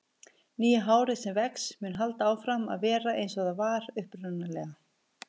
Nýja hárið sem vex mun halda áfram að vera eins og það var upprunalega.